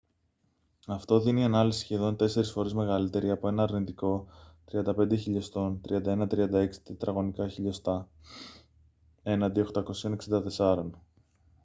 αυτό δίνει ανάλυση σχεδόν τέσσερις φορές μεγαλύτερη από ένα αρνητικό 35mm 3136 τετραγωνικά χιλιοστά mm2 έναντι 864